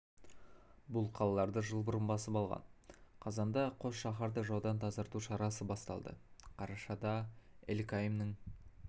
бұл қалаларды жыл бұрын басып алған қазанда қос шаһарды жаудан тазарту шарасы басталды қарашада эль-каймның